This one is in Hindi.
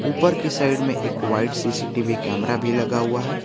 ऊपर की साइड में एक वाइट सी_सी_टी_वी कैमरा भी लगा हुआ है।